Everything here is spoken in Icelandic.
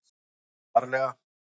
Viltu tala varlega.